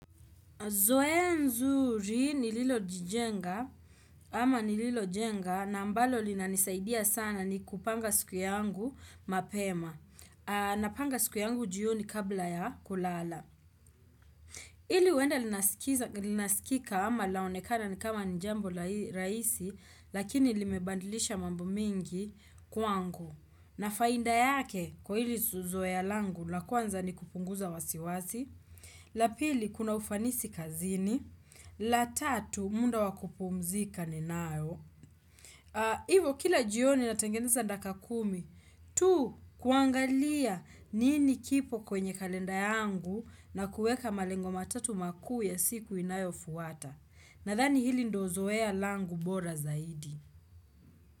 Zoe zuri ni lile lililojijenga. Ama nililo jenga na ambalo lina nisaidia sana ni kupanga siku yangu mapema. Napanga siku yangu jioni kabla ya kulala. Inaweza kusikika au kuonekana kama jambo dogo na rahisi, lakini limebadilisha mambo mengi sana kwangu. Na faida yake kwa hilo zoezi langu la kwanza ni kupunguza wasiwasi. La pili ni kuongeza ufanisi kazini. La tatu muda wa kupumzika ninao. Ivo kila jioni natengeneza dakika kumi tu kuangalia nini kipo kwenye kalenda yangu na kueka malengo matatu makuu ya siku inayo fuata. Nadhani hili ndilo zoea langu bora zaidi.